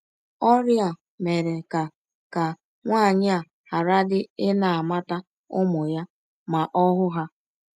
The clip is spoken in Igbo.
Ọrịa a mere ka ka nwaanyị a gharadị ịna - amata ụmụ ya ma ọ hụ ha.